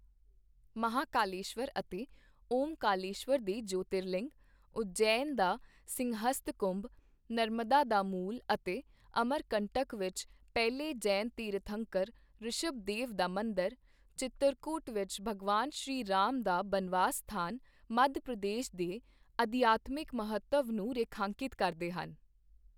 ਮਹਾਕਾਲੇਸ਼ਵਰ ਅਤੇ ਓਮਕਾਰੇਸ਼ਵਰ ਦੇ ਜਯੋਤਿਰਲਿੰਗ, ਉਜੈਨ ਦਾ ਸਿੰਹਸਥ ਕੁੰਭ, ਨਰਮਦਾ ਦਾ ਮੂਲ ਅਤੇ ਅਮਰਕੰਟਕ ਵਿੱਚ ਪਹਿਲੇ ਜੈਨ ਤੀਰਥੰਕਰ ਰਿਸ਼ਭਦੇਵ ਦਾ ਮੰਦਰ, ਚਿੱਤਰਕੂਟ ਵਿੱਚ ਭਗਵਾਨ ਸ਼੍ਰੀ ਰਾਮ ਦਾ ਬਨਵਾਸ ਸਥਾਨ, ਮੱਧ ਪ੍ਰਦੇਸ਼ ਦੇ ਅਧਿਆਤਮਿਕ ਮਹੱਤਵ ਨੂੰ ਰੇਖਾਂਕਿਤ ਕਰਦੇ ਹਨ।